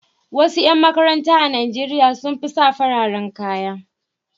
Wasu ƴan makaranta a Najeriya sun fi sa fararen kaya.